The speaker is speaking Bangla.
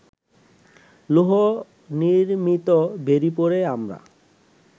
লৌহনির্ম্মিত বেড়ী পরে আমরা